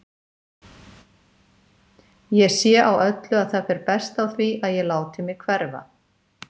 Ég sé á öllu að það fer best á því að ég láti mig hverfa.